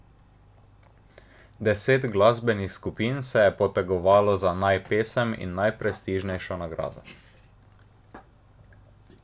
Deset glasbenih skupin se je potegovalo za najpesem in najprestižnejšo nagrado.